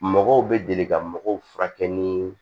Mɔgɔw bɛ deli ka mɔgɔw furakɛ ni